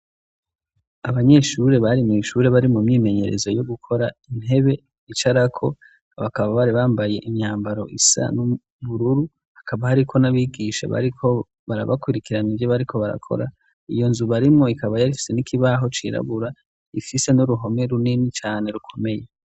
Abanyeshuri bari mu ishuri bari mu myimenyerezo yo gukora intebe icara ko abakaba bari bambaye imyambaro isa n'ubururu hakaba hariko n'abigisha bariko barabakurikiraniye bariko barakora. Iyo nzu barimwo ikaba yari ifise n'ikibaho cirabura ifise n'uruhome runini cane rukomeye.